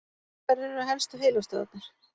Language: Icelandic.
Hverjar eru helstu heilastöðvarnar?